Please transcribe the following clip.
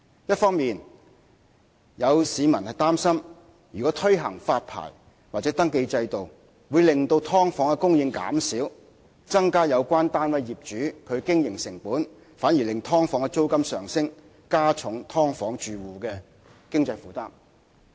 一方面，有市民擔心如推行發牌或登記制度，會令"劏房"的供應減少及增加有關單位業主的經營成本，反而會令"劏房"的租金上升，加重"劏房戶"的經濟負擔。